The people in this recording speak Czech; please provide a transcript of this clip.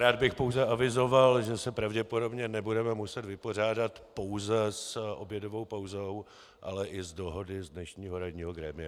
Rád bych pouze avizoval, že se pravděpodobně nebudeme muset vypořádat pouze s obědovou pauzou, ale i s dohodou z dnešního ranního grémia.